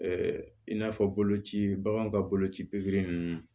i n'a fɔ boloci baganw ka boloci ninnu